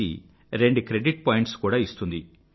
C రెండు credit points కూడా ఇస్తుంది